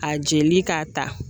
A jeli k'a ta